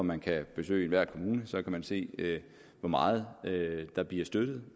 man kan besøge enhver kommune og så kan man se hvor meget der bliver støttet